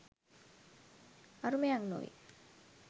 අරුමයක් නොවේ.